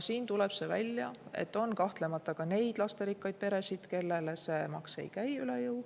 Tuleb välja, et on kahtlemata ka neid lasterikkaid peresid, kellele see maks ei käi üle jõu.